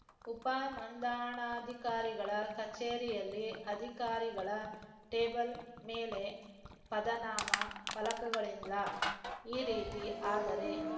ಉಪ ನೋಂದಣಾಧಿಕಾರಿಗಳ ಕಚೇರಿಯಲ್ಲಿ ಅಧಿಕಾರಿಗಳ ಟೇಬಲ್‌ ಮೇಲೆ ಪದನಾಮ ಫಲಕಗಳಿಲ್ಲ ಈ ರೀತಿ ಆದರೆ